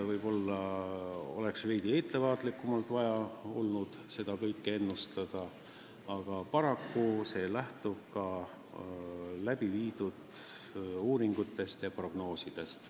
Võib-olla oleks vaja olnud veidi ettevaatlikumalt seda kõike ennustada, aga paraku lähtub see ka uuringute tulemustest ja prognoosidest.